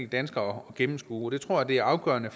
dansker at gennemskue jeg tror det er afgørende